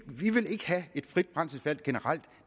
vil have et frit brændselsvalg generelt